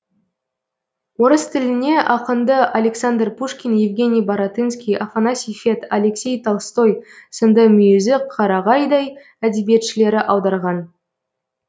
орыс тіліне ақынды александр пушкин евгений баратынский афанасий фет алексей толстой сынды мүйізі қарағайдай әдебиетшілері аударған